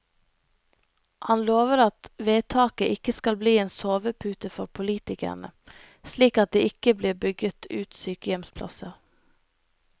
Han lover at vedtaket ikke skal bli en sovepute for politikerne, slik at det ikke blir bygget ut sykehjemsplasser.